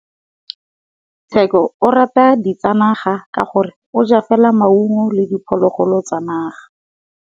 Tshekô o rata ditsanaga ka gore o ja fela maungo le diphologolo tsa naga.